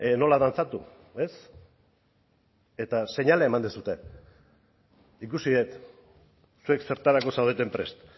nola dantzatu ez eta seinalea eman duzue ikusi dut zuek zertarako zaudeten prest